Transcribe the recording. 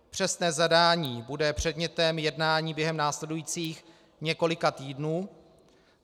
Přesné zadání bude předmětem jednání během následujících několika týdnů.